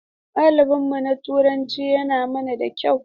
Malamin mu na Turanci yana mana da kyau.